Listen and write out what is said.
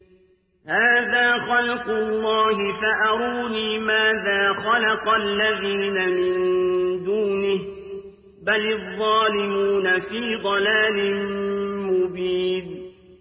هَٰذَا خَلْقُ اللَّهِ فَأَرُونِي مَاذَا خَلَقَ الَّذِينَ مِن دُونِهِ ۚ بَلِ الظَّالِمُونَ فِي ضَلَالٍ مُّبِينٍ